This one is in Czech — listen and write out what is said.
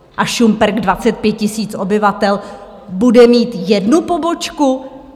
A Šumperk, 25 000 obyvatel, bude mít jednu pobočku?